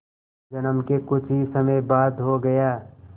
जन्म के कुछ ही समय बाद हो गया